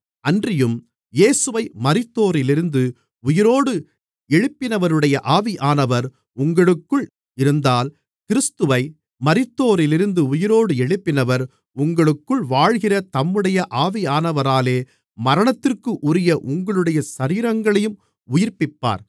அன்றியும் இயேசுவை மரித்தோரிலிருந்து உயிரோடு எழுப்பினவருடைய ஆவியானவர் உங்களுக்குள் இருந்தால் கிறிஸ்துவை மரித்தோரிலிருந்து உயிரோடு எழுப்பினவர் உங்களுக்குள் வாழ்கிற தம்முடைய ஆவியானவராலே மரணத்திற்குரிய உங்களுடைய சரீரங்களையும் உயிர்ப்பிப்பார்